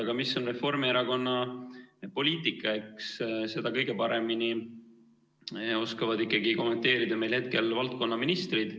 Aga mis on Reformierakonna poliitika, eks seda oskavad kõige paremini kommenteerida meil hetkel valdkonnaministrid.